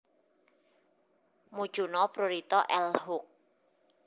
Mucuna prurita L Hook